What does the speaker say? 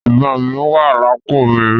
Ìbọn mí wà lápò mi.